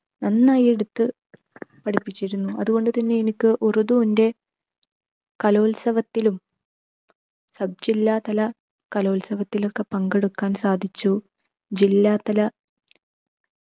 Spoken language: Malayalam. നന്നായി എടുത്ത് പഠിപ്പിച്ചിരുന്നു. അതുകൊണ്ട് തന്നെ എനിക്ക് ഉറുദുവിൻ്റെ കലോത്സവത്തിലും sub ജില്ലാതല കലോത്സവത്തിലോക്കെ പങ്കെടുക്കാൻ സാധിച്ചു. ജില്ലാതല